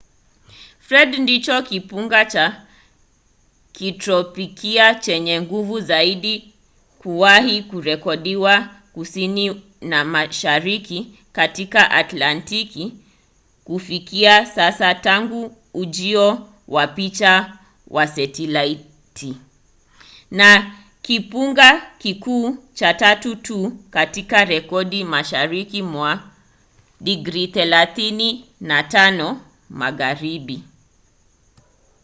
fred ndicho kimbunga cha kitropiki chenye nguvu zaidi kuwahi kurekodiwa kusini na mashariki katika atlantiki kufikia sasa tangu ujio wa picha za setalaiti na kimbunga kikuu cha tatu tu katika rekodi mashariki mwa 35° magharibi